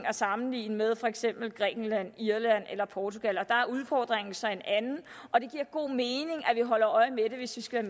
at sammenligne med for eksempel grækenland irland eller portugal der er udfordringen så en anden og det giver god mening at vi holder øje med det hvis vi skal